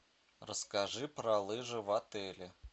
расскажи про лыжи в отеле